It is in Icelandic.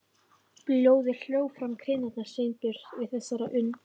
Blóðið hljóp fram í kinnar Sveinbjörns við þessar upp